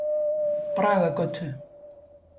Bragagötu